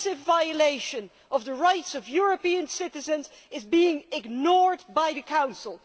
A massive violation of the rights of European citizens is being ignored by the Council.